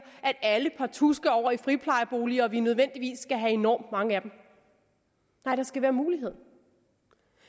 at alle partout skal over i friplejebolig og vi nødvendigvis skal have enormt mange af dem nej der skal være mulighed